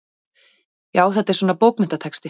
Já, þetta er svona. bókmenntatexti.